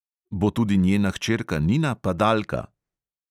Bo tudi njena hčerka nina padalka?